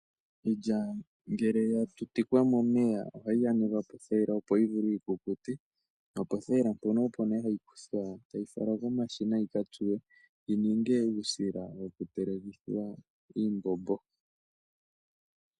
Iilya ngele yatutikwa momeya ohayi yanekwa pothayila opo yivule yikukute nopothatila mpono opo hayi kuthwa tayi falwa komashina yika tsuwe yini uusila wokutelekithwa iimbombo.